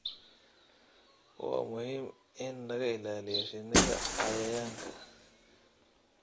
Waa muhiim in laga ilaaliyo shinnida cayayaanka.